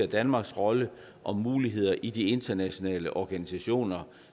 danmarks rolle og muligheder i de internationale organisationer